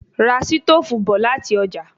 Ra sítóòfù bọ̀ láti ọjà